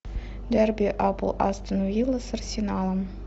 дерби апл астон вилла с арсеналом